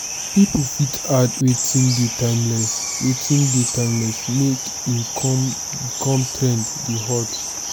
pipo fit add wetin dey timeless wetin dey timeless make e come become trend dey hot